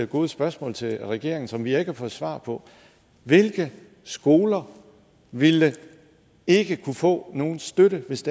gode spørgsmål til regeringen som vi ikke har fået svar på hvilke skoler ville ikke kunne få nogen støtte hvis